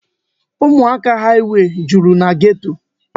Ụmụaka haịwey juru na geto.